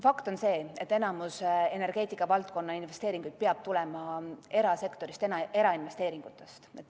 Fakt on see, et enamik energeetikavaldkonna investeeringuid peab tulema erasektorist, erainvesteeringutest.